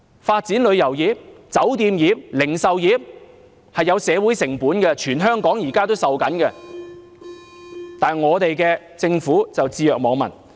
發展旅遊業、酒店業、零售業是有社會成本的，現在全香港正在承受，但政府卻置若罔聞。